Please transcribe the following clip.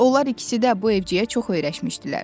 Onlar ikisi də bu evciyə çox öyrəşmişdilər.